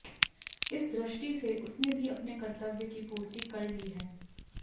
इस दृष्टि से उसने भी अपने कर्तव्य की पूर्ति कर ली है